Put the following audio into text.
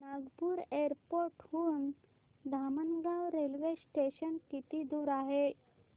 Nagpur airport हून Dhamangaon railway station किती दूर आहे